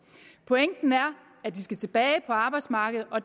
pointen er at de skal tilbage på arbejdsmarkedet og